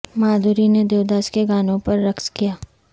مادھوری نے دیو داس کے گانوں پر رقص کیا